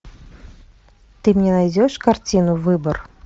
ты мне найдешь картину выбор